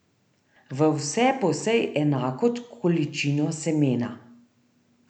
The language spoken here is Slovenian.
V vse posej enako količino semena.